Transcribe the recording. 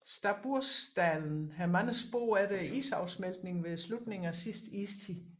Stabbursdalen har mange spor efter isafsmeltningen ved slutningen af sidste istid